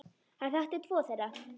Hann þekkti tvo þeirra.